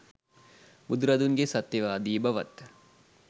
බුදුරදුන්ගේ සත්‍යවාදී බවත්,